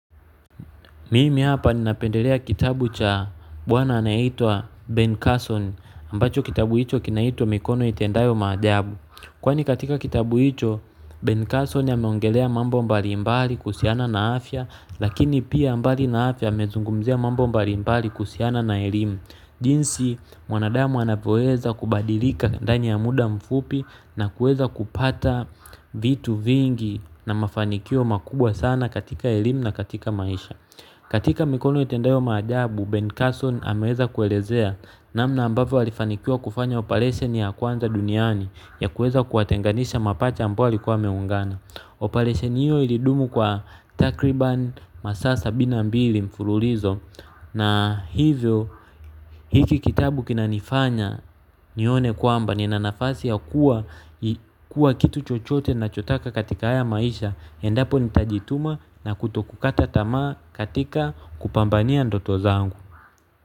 Mimi hapa ninapendelea kitabu cha bwana anayeitwa Ben Carson Ambacho kitabu hicho kinaitwa mikono itendayo maajabu kwani katika kitabu hicho Ben Carson ameongelea mambo mbalimbali kuhusiana na afya lakini pia mbali na afya amezungumzia mambo mbali mbali kuhusiana na elimu. Jinsi mwanadamu anapoweza kubadilika ndani ya muda mfupi na kueza kupata vitu vingi na mafanikio makubwa sana katika elimu na katika maisha. Katika mikono itendayo maajabu Ben Carson ameweza kuelezea namna ambavyo alifanikiwa kufanya operation ya kwanza duniani ya kuweza kuwatenganisha mapacha ambao walikuwa wameungana. Operation hiyo ilidumu kwa takriban masaa sabini na mbili mfululizo na hivyo hiki kitabu kinanifanya nione kwamba nina nafasi ya kuwa kitu chochote nachotaka katika haya maisha endapo nitajituma na kutokukata tamaa katika kupambania ndoto zangu.